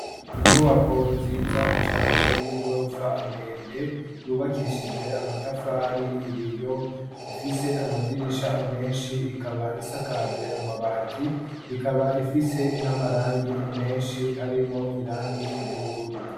inyubako nziza cane y'igorofa ndende yubakishijwe amatafari ibiyo ifise amadirisha menshi ikaba isakajwe amabati ikaba ifise namarangi menshi harimo irangi ry'ubururu.